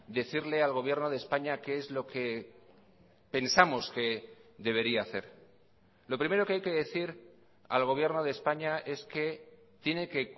decirle al gobierno de españa qué es lo que pensamos que debería hacer lo primero que hay que decir al gobierno de españa es que tiene que